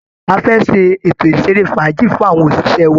A fẹ́ ṣe ètò ìṣeré fàájì fún àwọn òṣìṣẹ́ wa